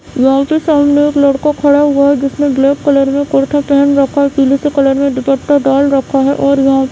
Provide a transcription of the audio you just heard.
यहां पे सामने एक लड़का खड़ा हुआ है जिसने ब्लैक कलर में कुर्ता पहन रखा है और पीला से कलर में दुपट्टा डाल रखा है और यहां --